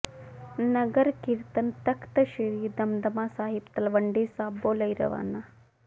ਨਗਰ ਕੀਰਤਨ ਤਖ਼ਤ ਸ੍ਰੀ ਦਮਦਮਾ ਸਾਹਿਬ ਤਲਵੰਡੀ ਸਾਬੋ ਲਈ ਰਵਾਨਾ